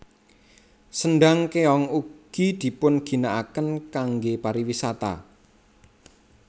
Sendhang Kéong ugi dipun ginakaken kangge pariwisata